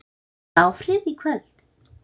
Hefur það áhrif í kvöld?